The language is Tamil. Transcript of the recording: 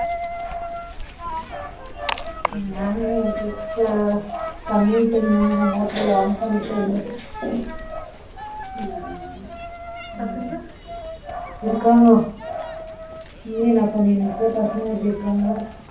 தண்ணிவிட்டனல மோட்டார் ல ஆன் பண்ணிட்டு இருந்தேன் பசங்க இருக்காங்க நீ என்ன பண்ணினு இருக்க பசங்க எப்படி இருக்காங்க